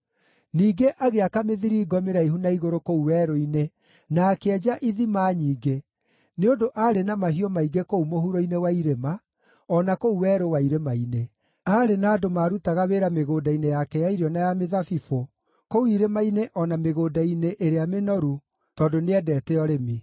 Ningĩ agĩaka mĩthiringo mĩraihu na igũrũ kũu werũ-inĩ na akĩenja ithima nyingĩ, nĩ ũndũ aarĩ na mahiũ maingĩ kũu mũhuro-inĩ wa irĩma, o na kũu werũ wa irĩma-inĩ. Aarĩ na andũ maarutaga wĩra mĩgũnda-inĩ yake ya irio na ya mĩthabibũ kũu irĩma-inĩ o na mĩgũnda-inĩ ĩrĩa mĩnoru, tondũ nĩendete ũrĩmi.